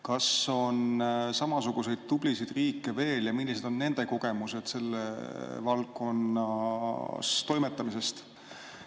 Kas on samasuguseid tublisid riike veel ja millised on nende kogemused selles valdkonnas toimetamisel?